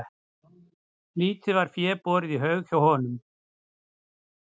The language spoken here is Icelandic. Lítið var fé borið í haug hjá honum.